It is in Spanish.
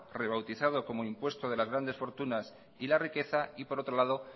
rebautizado como impuesto de las grandes fortunas y la riqueza y por otro lado